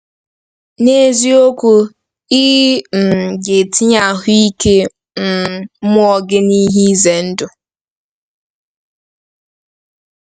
N’eziokwu, ị um ga-etinye ahụike um mmụọ gị n’ihe ize ndụ.